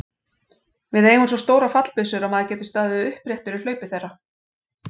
Við eigum svo stórar fallbyssur að maður getur staðið uppréttur í hlaupi þeirra.